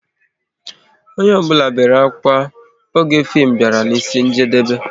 Onye ọ bụla bere ákwà oge fim bịara n'isi njedebe